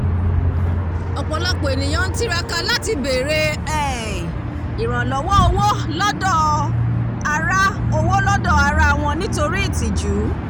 ọ̀pọ̀lọpọ̀ ènìyàn ń tiraka láti bèrè um ìrànlọ́wọ́ owó lọ́dọ̀ ará owó lọ́dọ̀ ará wọn nítorí ìtìjú